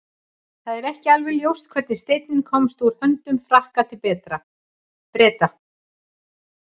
það er ekki alveg ljóst hvernig steinninn komst úr höndum frakka til breta